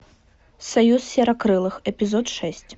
союз серокрылых эпизод шесть